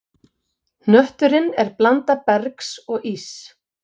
Hnötturinn er blanda bergs og íss.